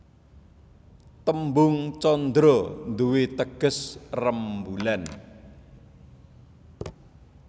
Tembung candra nduwé teges rembulan